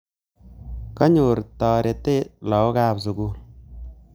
Kanyor tarete lagokab sugul